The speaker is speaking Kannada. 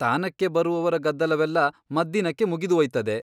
ತಾನಕ್ಕೆ ಬರುವವರ ಗದ್ದಲವೆಲ್ಲ ಮದ್ದಿನಕ್ಕೆ ಮುಗಿದು ಓಯ್ತದೆ.